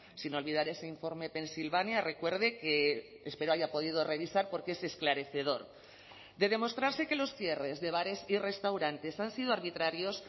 sin olvidar ese informe pensilvania recuerde que espero haya podido revisar porque es esclarecedor de demostrarse que los cierres de bares y restaurantes han sido arbitrarios